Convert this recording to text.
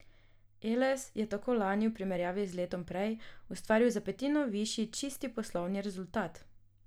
Eles je tako lani v primerjavi z letom prej ustvaril za petino višji čisti poslovni rezultat.